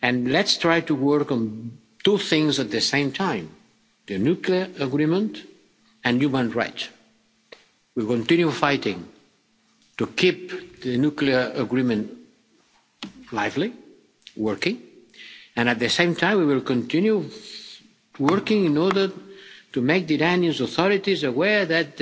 Let's try to work on two things at the same time the nuclear agreement and human rights. We will continue fighting to keep the nuclear agreement alive and working and at the same time we will continue working in order to make the Iranian authorities aware